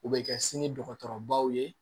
U bɛ kɛ sini dɔgɔtɔrɔbaw ye